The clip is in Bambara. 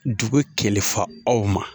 Dugu kɛlɛfa aw ma